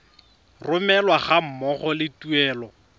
romelwa ga mmogo le tuelo